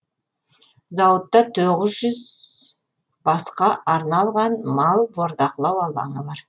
зауытта тоғыз жүз басқа арналған мал бордақылау алаңы бар